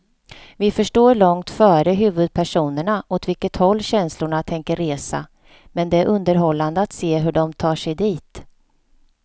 Vi förstår långt före huvudpersonerna åt vilket håll känslorna tänker resa, men det är underhållande att se hur de tar sig dit.